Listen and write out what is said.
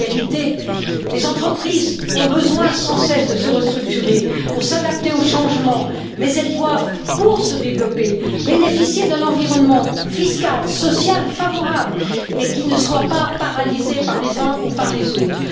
En réalité, les entreprises ont besoin sans cesse de se restructurer pour s'adapter au changement, mais elles doivent, pour se développer, bénéficier d'un environnement fiscal et social favorable et qui ne soit pas paralysé par les uns ou par les autres.